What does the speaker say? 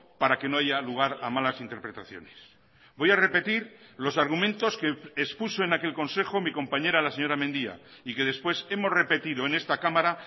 para que no haya lugar a malas interpretaciones voy a repetir los argumentos que expuso en aquel consejo mi compañera la señora mendia y que después hemos repetido en esta cámara